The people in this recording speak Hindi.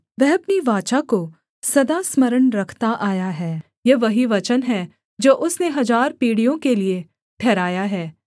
वह अपनी वाचा को सदा स्मरण रखता आया है यह वही वचन है जो उसने हजार पीढ़ियों के लिये ठहराया है